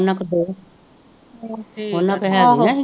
ਉਹਨਾਂ ਕੋ ਹੇਗੀਆਂ ਹੀ